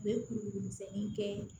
U bɛ kuru kuru misɛnninw kɛ